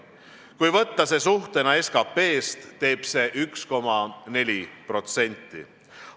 Kui võtta see suhtena SKT-st, teeb see 1,4%.